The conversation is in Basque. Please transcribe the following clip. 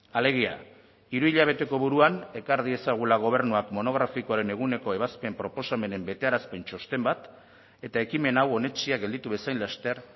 alegia hiru hilabeteko buruan ekar diezagula gobernuak monografikoaren eguneko ebazpen proposamenen betearazpen txosten bat eta ekimen hau onetsia gelditu bezain laster